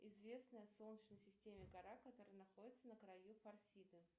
известная в солнечной системе гора которая находится на краю фарсиды